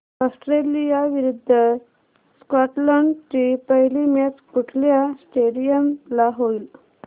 Australia विरुद्ध Scotland ची पहिली मॅच कुठल्या स्टेडीयम ला होईल